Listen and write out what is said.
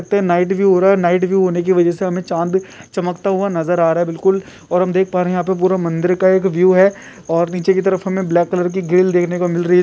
Night view हो रहा है नाईट व्यू होने की वजह से हमें चाँद चमकता हुआ नजर आ रहा है बिलकुल और हम देख पा रहे है यहाँ पे पूरा मंदिर का एक व्यू है और निचे की तरफ हमें एक ब्लैक कलर की ग्रिल देखने को मिल रही है।